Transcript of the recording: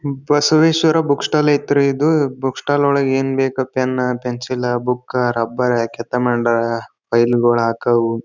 Basaveshwara book stall ಐತ್ರಿ ಇದು book stall ಅಲ್ಲಿ ಏನ್ ಬೇಕು pen pencil book rubber file ಗಳಕ--